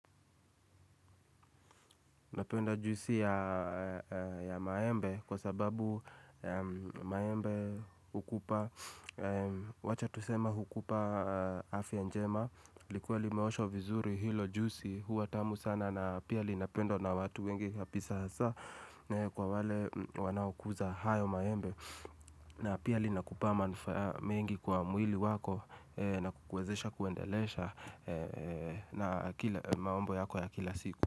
Napenda juisi ya maembe kwa sababu maembe hukupa Wacha tusema hukupa afya njema likuwa li meosho vizuri hilo juisi huwa tamu sana na pia li napendo na watu wengi hapi sasa Kwa wale wanaukuza hayo maembe na pia li nakupa mingi kwa mwili wako na kukwezesha kuendelesha na mambo yako ya kila siku.